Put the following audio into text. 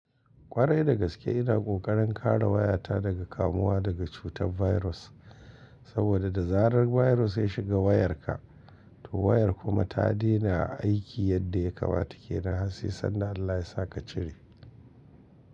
Kwarai da gaske ina kokarin kare wayata daga kamuwa daga cutar virus, saboda da zarar virus ya shiga wayarka, to wayar kuma ta dena aiki yadda ya kamata ke nan har sai sanda Allah yasa ka cire.